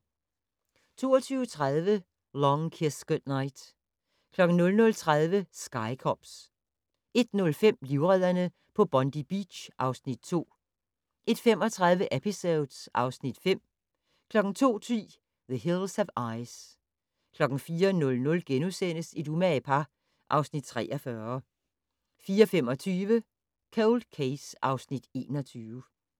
22:30: Long Kiss Goodnight 00:30: Sky Cops 01:05: Livredderne på Bondi Beach (Afs. 2) 01:35: Episodes (Afs. 5) 02:10: The Hills Have Eyes 04:00: Et umage par (Afs. 43)* 04:25: Cold Case (Afs. 21)